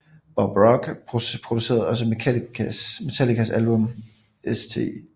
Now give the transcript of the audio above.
Bob Rock producerede også Metallicas album St